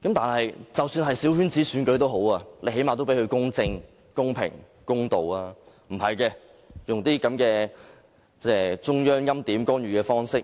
然而，即使是小圈子選舉，最低限度也要公正、公平、公道，但不是這樣，他們用這些中央欽點、干預的方式，